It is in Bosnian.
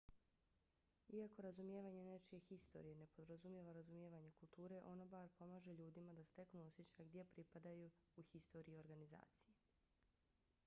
iako razumijevanje nečije historije ne podrazumijeva razumijevanje kulture ono bar pomaže ljudima da steknu osjećaj gdje pripadaju u historiji organizacije